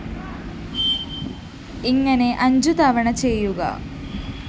ഇങ്ങനെ അഞ്ചു തവണ ചെയ്യുക